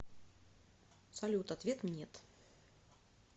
салют ответ нет